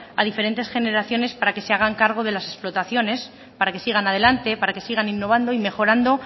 a diferentes generaciones para que se hagan cargo de las explotaciones para que sigan adelante para que sigan innovando y mejorando